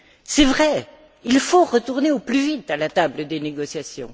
C'est vrai, il faut retourner au plus vite à la table des négociations.